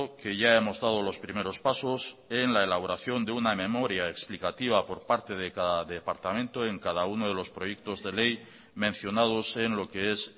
que ya hemos dado los primeros pasos en la elaboración de una memoria explicativa por parte de cada departamento en cada uno de los proyectos de ley mencionados en lo que es